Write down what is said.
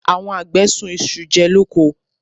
Àwọn àgbẹ̀ sun isu jẹ lóko.